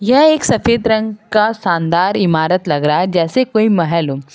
यह एक सफेद रंग का शानदार इमारत लग रहा है जैसे कोई महल हो।